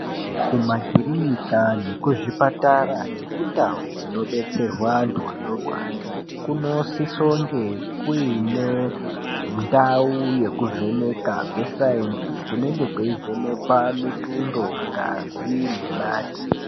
Kumakirinika nekuzvipatara nekundau dzinobetserwa antu anorwara. Kunosisonge kuine ndau yekuvheneka kwesainzi kunenge kweivhenekwa mitindo, ngazi nemate.